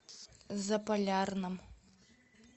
заполярном